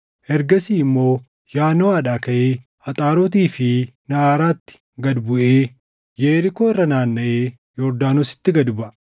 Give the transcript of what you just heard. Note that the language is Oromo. Ergasii immoo Yaanoʼaadhaa kaʼee Axaarotii fi Naʼaraatti gad buʼee Yerikoo irra naannaʼee Yordaanositti gad baʼa.